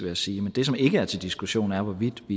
jeg sige men det som ikke er til diskussion er hvorvidt